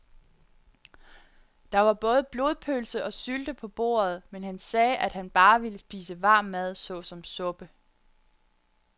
Der var både blodpølse og sylte på bordet, men han sagde, at han bare ville spise varm mad såsom suppe.